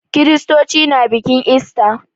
Kiristoci na bikin ista.